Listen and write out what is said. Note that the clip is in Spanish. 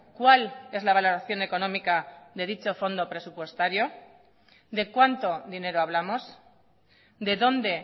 cuál es la valoración económica de dicho fondo presupuestario de cuánto dinero hablamos de dónde